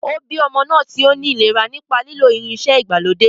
Ó bí ọmọ tí ó ní ìlera nípa lílo irinṣẹ́ ìgbàlódé.